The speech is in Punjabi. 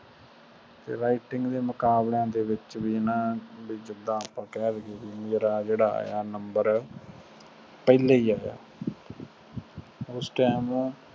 writting ਦੇ ਮੁਕਾਬਲਿਆਂ ਦੇ ਵਿਚ ਵੀ ਨਾ ਜਿੰਦਾ ਆਪਣਾ ਕਹਿ ਦੀਏ ਨਾ ਮੇਰਾ ਜਿਹੜਾ ਆਯਾ ਨੰਬਰ ਪਹਿਲੇ ਚ ਆਯਾ ਉਸ time